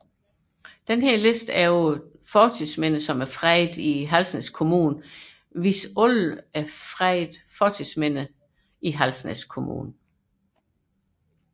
Denne liste over fredede fortidsminder i Halsnæs Kommune viser alle fredede fortidsminder i Halsnæs Kommune